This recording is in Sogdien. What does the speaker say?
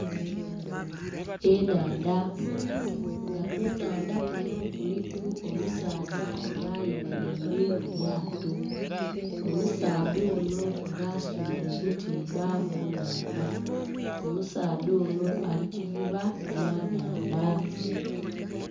Enhandha, nga ku nhandha kunho kuliku omusaadha nga ayemereire mu lyaato, omusaadha onho nga aswire obutimba mu nhandha omusaadha onho ali kuvuba bya nhandha.